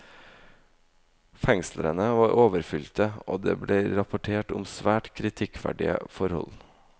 Fengslene var overfylte, og det ble rapportert om svært kritikkverdige forhold.